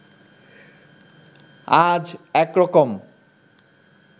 আজ একরকম